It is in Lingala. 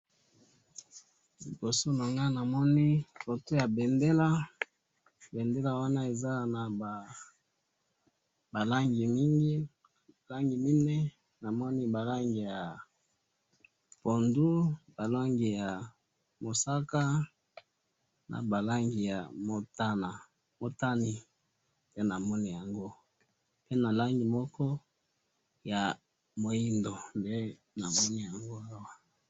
liboso na nga namoni photo ya bendele, bendele wana eza na ba langi mingi, langi mine, namoni ba langi ya pondu, ba langi ya mosaka, na ba langi ya motane, nde namoni yango, pe na langi moko ya moindo, nde namoni yango awa